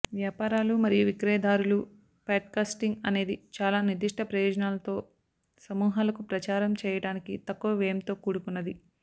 వ్యాపారాలు మరియు విక్రయదారులు పాడ్కాస్టింగ్ అనేది చాలా నిర్దిష్ట ప్రయోజనాలతో సమూహాలకు ప్రచారం చేయడానికి తక్కువ వ్యయంతో కూడుకున్నది